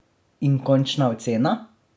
In končna ocena?